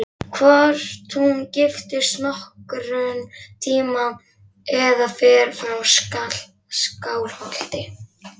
Hvort hún giftist nokkurn tíma eða fer frá Skálholti.